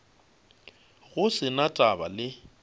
go se na taba le